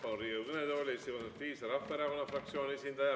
Palun Riigikogu kõnetooli Eesti Konservatiivse Rahvaerakonna fraktsiooni esindaja.